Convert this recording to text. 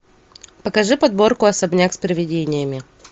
покажи подборку особняк с привидениями